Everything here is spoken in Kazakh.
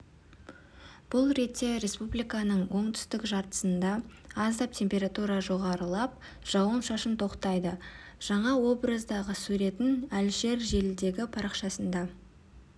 бұл ретте республиканың оңтүстік жартысында аздап температура жоғарылап жауын-шашын тоқтайды жаңа образдағы суретін әлішер желідегі парақшасында